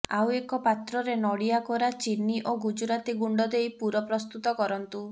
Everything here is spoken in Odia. ଆଉ ଏକ ପାତ୍ରରେ ନଡ଼ିଆ କୋରା ଚିନି ଓ ଗୁଜୁରାତି ଗୁଣ୍ଡଦେଇ ପୁର ପ୍ରସ୍ତୁତ କରନ୍ତୁ